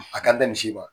A ka da misi kan